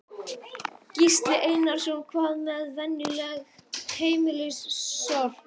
Gísli Einarsson: Hvað með venjulegt heimilissorp?